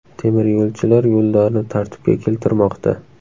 Temiryo‘lchilar yo‘llarni tartibga keltirmoqda.